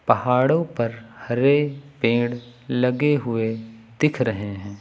पहाड़ों पर हरे पेड़ लगे हुए दिख रहे हैं।